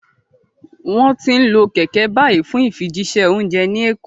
Wọ́n ti ń lo kẹ̀kẹ́ báyìí fún ìfijíṣẹ́ oúnjẹ ní Èkó